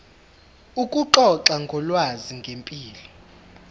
ukuxoxa ngolwazi ngempilo